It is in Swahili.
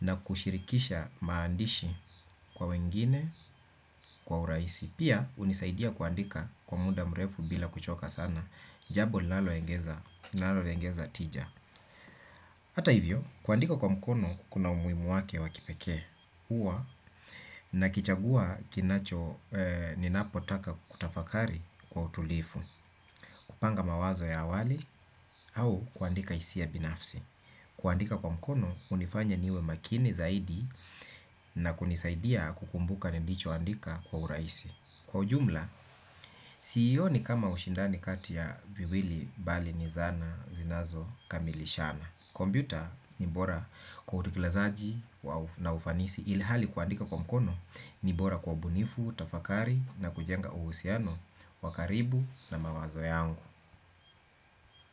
na kushirikisha maandishi kwa wengine, kwa urahisi. Pia hunisaidia kuandika kwa muda mrefu bila kuchoka sana, jambo linaloengeza, linalengeza tija. Hata hivyo, kuandika kwa mkono kuna umuhimu wake wa kipekee huwa nakichagua kinacho ninapotaka kutafakari kwa utulivu. Kupanga mawazo ya awali au kuandika hisia binafsi. Kuandika kwa mkono hunifanya niwe makini zaidi na kunisaidia kukumbuka nilichoandika kwa urahisi. Kwa ujumla, siioni kama ushindani kati ya viwili bali ni zana zinazokamilishana. Kumpyuta ni bora kwa utekelezaji na ufanisi ilhali kuandika kwa mkono ni bora kwa ubunifu, tafakari na kujenga uhusiano wa karibu na mawazo yangu.